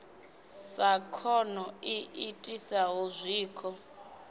sa khono i itisaho zwikho